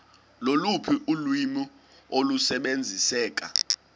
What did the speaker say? loluphi ulwimi olusebenziseka